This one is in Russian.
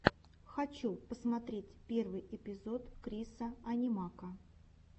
хочу посмотреть первый эпизод крисса анимака